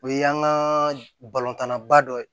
O y'an ka balontanna ba dɔ ye